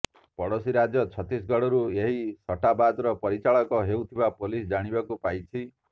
ପଡୋଶୀ ରାଜ୍ୟ ଛତିଶଗଡରୁ ଏହି ସଟ୍ଟାବଜାର ପରିଚାଳିତ ହେଉଥିବା ପୋଲିସ ଜାଣିବାକୁ ପାଇଛି